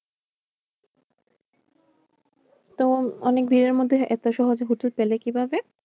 তো অনেক ভিড়ের মধ্যে এত সহজে হোটেল পেলে কিভাবে?